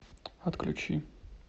отключи